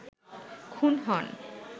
খুন হন